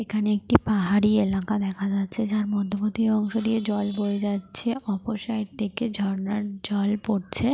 এখানে একটি পাহাড়ি এলাকা দেখা যাচ্ছে যার মধ্যবত্তি অংশ দিয়ে জল বয়ে যাচ্ছে। অপর সাইড থেকে ঝর্ণার জল পড়ছে।